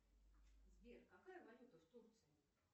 сбер какая валюта в турции